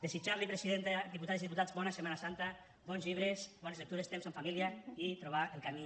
desitjar los presidenta diputades i diputats bona setmana santa bons llibres bones lectures temps en família i trobar el camí